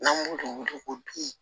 N'an b'o dun o ko bi